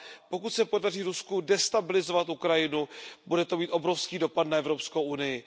Pokud se podaří Rusku destabilizovat Ukrajinu, bude to mít obrovský dopad na Evropskou unii.